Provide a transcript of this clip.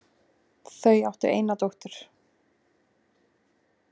Þau áttu eina dóttur.